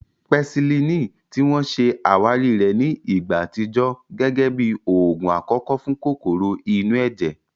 Pẹsilínìì, ti wọ́n ṣe àwárí rẹ̀ ní ìgbà àtijọ́, gẹ́gẹ́ bí oògùn àkọ́kọ́ fún kòkòrò inú ẹ̀jẹ̀